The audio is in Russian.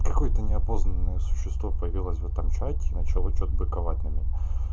какое-то неопознанное существо появилось в этом чате и начало что-то быковать на меня